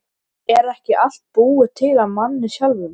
Svo móðir hennar að kippa þeim fram úr undan bununni.